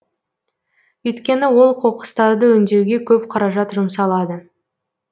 өйткені ол қоқыстарды өңдеуге көп қаражат жұмсалады